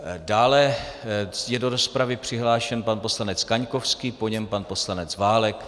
Dále je do rozpravy přihlášen pan poslanec Kaňkovský, po něm pan poslanec Válek.